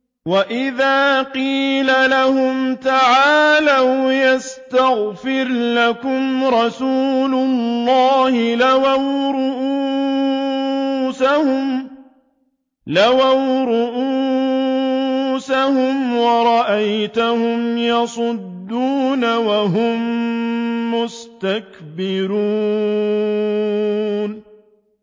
وَإِذَا قِيلَ لَهُمْ تَعَالَوْا يَسْتَغْفِرْ لَكُمْ رَسُولُ اللَّهِ لَوَّوْا رُءُوسَهُمْ وَرَأَيْتَهُمْ يَصُدُّونَ وَهُم مُّسْتَكْبِرُونَ